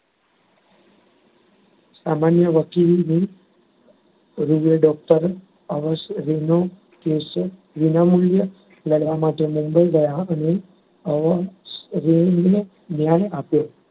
સામાન્ય વકીલની રૂએ doctor અવસરેનો કેસ વિનામુલ્યે લડવા માટે મુંબઈ ગયાં અને અવસરેને ન્યાય આપ્યો.